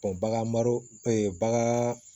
bagan mara